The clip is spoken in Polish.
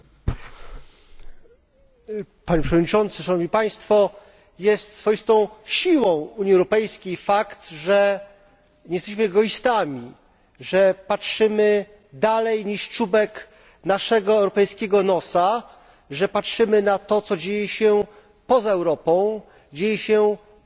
Panie Przewodniczący! Jest swoistą siłą Unii Europejskiej fakt, że nie jesteśmy egoistami, że patrzymy dalej niż czubek naszego europejskiego nosa, że patrzymy na to, co dzieje się poza Europą, co dzieje się w dalekiej egzotycznej Azji.